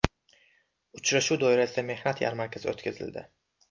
Uchrashuv doirasida mehnat yarmarkasi o‘tkazildi.